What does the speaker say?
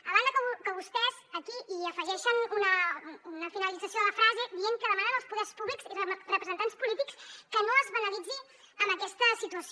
a banda que vostès aquí hi afegeixen una finalització de la frase dient que demanen als poders públics i representants polítics que no es banalitzi amb aquesta situació